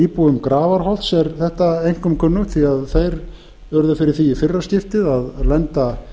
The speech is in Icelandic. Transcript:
íbúum grafarholts er þetta einkum kunnugt því að þeir urðu fyrir því í fyrra skiptið að lenda